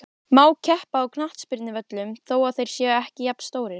Má keppa á knattspyrnuvöllum þó þeir séu ekki jafnstórir?